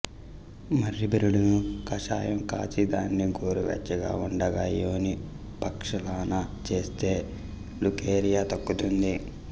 మర్రి బెరడుని కషాయం కాచి దానిని గోరు వెచ్చగా ఉండగా యోని ప్రక్షాళన చేస్తే లుకేరియా తగ్గుతుంది